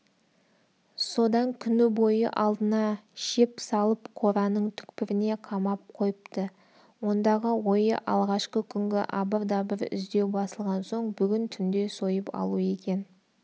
содан күні бойы алдына шеп салып қораның түкпіріне қамап қойыпты ондағы ойы алғашқы күнгі абыр-дабыр іздеу басылған соң бүгін түнде сойып алу екен